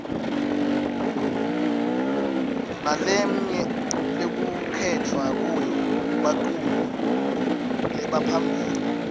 nalemnye lekukhetfwa kuyo baculi lebaphambili